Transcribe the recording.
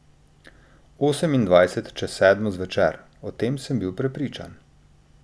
Osemindvajset čez sedmo zvečer, o tem sem bil prepričan.